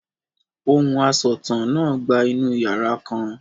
Ohùn asọ̀tàn náà gba inú yàrá kan.